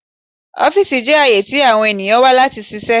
Ọfiisi jẹ aaye ti awọn eniyan wa lati ṣiṣẹ